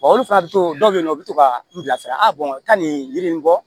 olu fana bɛ to dɔw bɛ yen nɔ u bɛ to ka n bila sira ka nin yiri in bɔ